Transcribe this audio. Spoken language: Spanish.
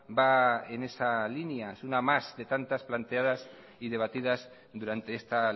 va en esa línea es una más de tantas planteadas y debatidas durante esta